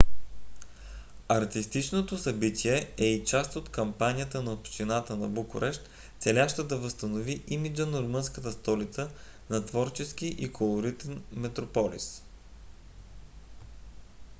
артистичното събитие е и част от кампанията на общината на букурещ целяща да възстанови имиджа на румънската столица на творчески и колоритен метрополис